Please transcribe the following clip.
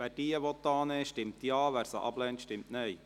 Wer diese annehmen will, stimmt Ja, wer sie ablehnt, stimmt Nein.